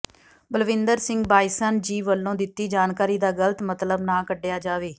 ਬਲਵਿੰਦਰ ਸਿੰਘ ਬਾਈਸਨ ਜੀ ਵਲੋਂ ਦਿੱਤੀ ਜਾਣਕਾਰੀ ਦਾ ਗਲਤ ਮਤਲਬ ਨਾ ਕੱਢਿਆ ਜਾਵੇ